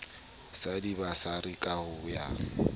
sa dibasari ka ho ya